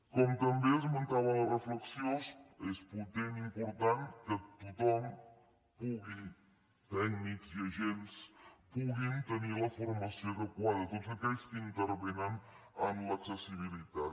com també esmentava a la reflexió és potent i important que tothom pugui tècnics i agents puguin tenir la formació adequada tots aquells que intervenen en l’accessibilitat